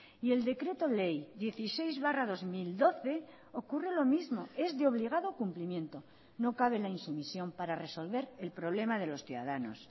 y el decreto ley dieciséis barra dos mil doce ocurre lo mismo es de obligado cumplimiento no cabe la insumisión para resolver el problema de los ciudadanos